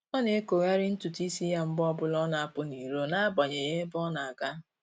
Ọ na-ekogharị ntụtụ isi ya mgbe ọbụla ọ na-apụ n'iro n'agbanyeghị ebe ọ na-aga